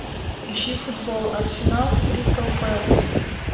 ищи футбол арсенал с кристал пэлас